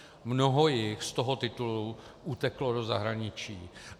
Mnoho jich z toho titulu uteklo do zahraničí.